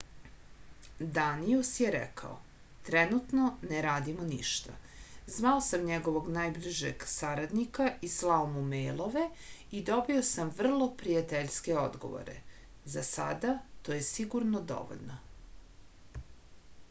danijus je rekao trenutno ne radimo ništa zvao sam njegovog najbližeg saradnika i slao mu mejlove i dobio sam vrlo prijateljske odgovore za sada to je sigurno dovoljno